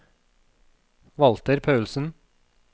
Walter Paulsen